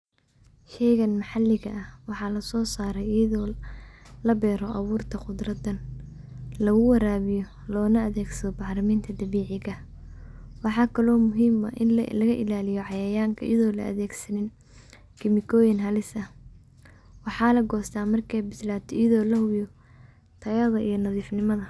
Sheygan mxaliga ah wxalasosare ayodo labero awurta qudradan laguwayawiyo lona adegsado baxraminta dabicigah, wxa kale oo muhim ah inlaga ilaliyo cayayanka iyado laadegsasnin chemicoyin halis ah ,wxa lagosta markaybislato ayado lahubiyo tayad iyo nadifnimada.